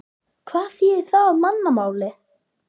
Hvað þýðir það á mannamáli?